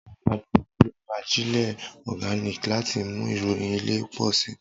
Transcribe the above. Awọn agbẹ nlo ajile Organic lati mu irọyin ile pọ si.